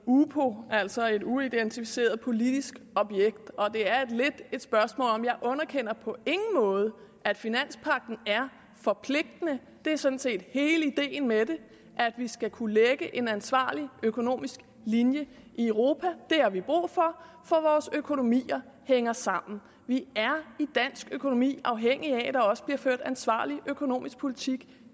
upo altså et uidentificeret politisk objekt jeg underkender på ingen måde at finanspagten er forpligtende det er sådan set hele ideen med det at vi skal kunne lægge en ansvarlig økonomisk linje i europa det har vi brug for for vores økonomier hænger sammen vi er i dansk økonomi afhængige af at der også bliver ført en ansvarlig økonomisk politik